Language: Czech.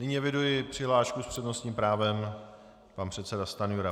Nyní eviduji přihlášku s přednostním právem, pan předseda Stanjura.